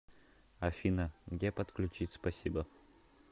афина где подключить спасибо